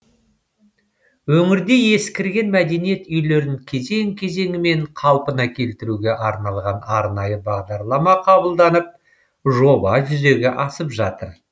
өңірде ескірген мәдениет үйлерін кезең кезеңімен қалпына келтіруге арналған арнайы бағдарлама қабылданып жоба жүзеге асып жатыр